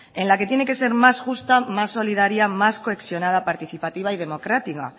en la que tiene que ser más justa más solidaria más cohesionada participativa y democrática